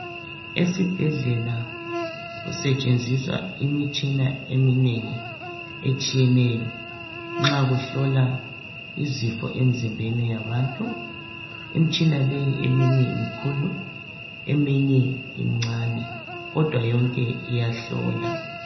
esibhedlela kusetshenziswa imitshina eminengi etshiyeneyo nxa kuhlolwa izifo emzimbeni yabantu imitshina leyi eminye imikhulu eminye imincane kodwa yonke iyahlola